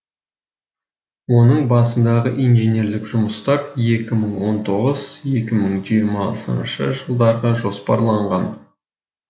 оның басындағы инженерлік жұмыстар екі мың он тоғыз екі мың жиырмасыншы жылдарға жоспарланған